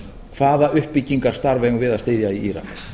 hvaða uppbyggingarstarf erum við að styðja í írak